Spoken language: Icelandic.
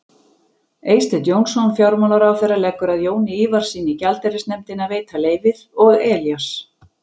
Eysteinn Jónsson fjármálaráðherra leggur að Jóni Ívarssyni í gjaldeyrisnefndinni að veita leyfið og Elías